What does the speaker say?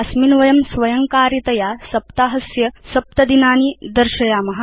अस्मिन् वयं स्वयङ्कारितया सप्ताहस्य सप्त दिनानि दर्शयाम